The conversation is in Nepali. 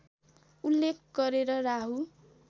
उल्लेख गरेर राहु